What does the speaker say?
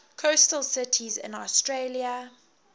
coastal cities in australia